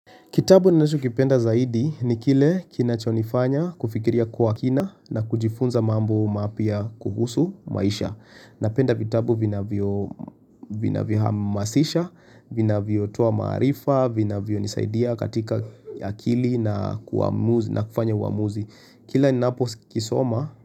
Kitabu ninachokipenda zaidi ni kile kinachonifanya kufikiria kwa kina na kujifunza mambo mapya kuhusu maisha Napenda vitabu vinavyohamasisha, vinavyotoa maarifa, vinavyonisaidia katika akili na kuamuzi na kufanya uamuzi Kila ninapo kisoma.